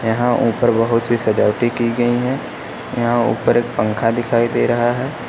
यहां ऊपर बहोत सी सजावटें की गई है। यहां ऊपर एक पंखा दिखाई दे रहा है।